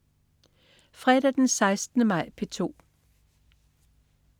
Fredag den 16. maj - P2: